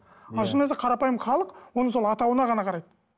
ал шын мәнісінде қарапайым халық оны сол атауына ғана қарайды